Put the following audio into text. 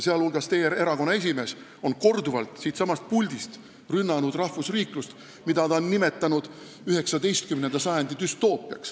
Muu hulgas on teie erakonna esimees korduvalt siitsamast puldist rünnanud rahvusriiklust, mida ta on nimetanud 19. sajandi düstoopiaks.